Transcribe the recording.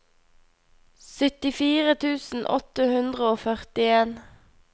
syttifire tusen åtte hundre og førtien